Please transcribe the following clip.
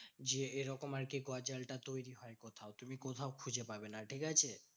যে এরকম আরকি গজালটা তৈরী হয়। তুমি কোথাও খুঁজে পাবে না, ঠিকাছে?